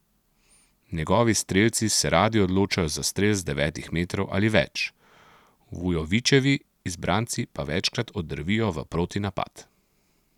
Njegovi strelci se radi odločajo za strel z devetih metrov ali več, Vujovićevi izbranci pa večkrat oddrvijo v protinapad.